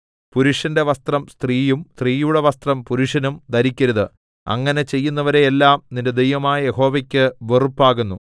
പുരുഷന്റെ വസ്ത്രം സ്ത്രീയും സ്ത്രീയുടെ വസ്ത്രം പുരുഷനും ധരിക്കരുത് അങ്ങനെ ചെയ്യുന്നവരെ എല്ലാം നിന്റെ ദൈവമായ യഹോവയ്ക്ക് വെറുപ്പാകുന്നു